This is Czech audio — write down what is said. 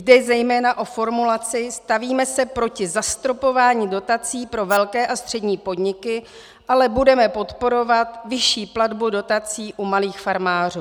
Jde zejména o formulaci "stavíme se proti zastropování dotací pro velké a střední podniky, ale budeme podporovat vyšší platbu dotací u malých farmářů".